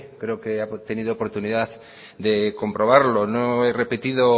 creo que ha tenido oportunidad de comprobarlo no he repetido